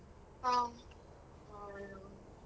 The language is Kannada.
ಹ್ಮ್.